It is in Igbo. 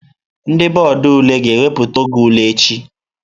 Ndị bọọdụ ule ga-ewepụta oge ule n'echi.